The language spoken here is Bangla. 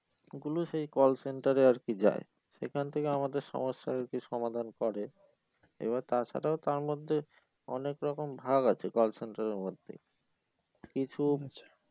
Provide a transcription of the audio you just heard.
গুলো সেই call center এ আর কি যায় সেখান থেকে আমাদের সমস্যার আর কি সমাধান করে এবার তা ছাড়াও তার মধ্যে অনেক রকম ভাগ আছে call center এর মধ্যে কিছু